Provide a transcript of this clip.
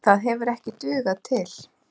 Það hefur ekki dugað til.